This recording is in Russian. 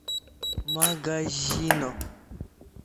магазино